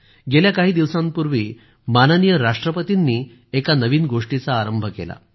गेल्या काही दिवसांपूर्वी माननीय राष्ट्रपतींनी एका नवीन गोष्टीचा प्रारंभ केला